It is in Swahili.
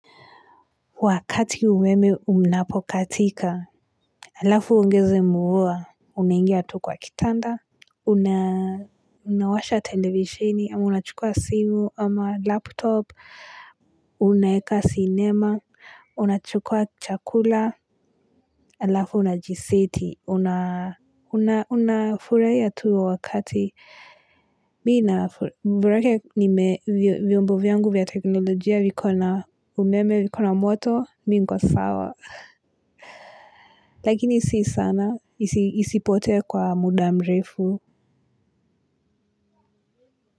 Wakati umeme unapokatika, alafu uongeze mvua, unangia tu kwa kitanda, unawasha televishini, ama unachukua simu ama laptop, unaweka sinema, unachukua chakula, alafu unajiseti, unafurahia tu wakati. Mi na borake nime viombo vyangu vya teknolojia vikona umeme vikona moto mi niko sawa. Lakini si sana isipotee kwa muda mrefu.